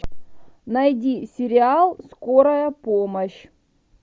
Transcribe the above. найди сериал скорая помощь